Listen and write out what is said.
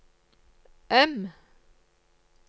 M